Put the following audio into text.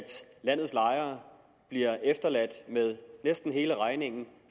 landets lejere bliver efterladt med næsten hele regningen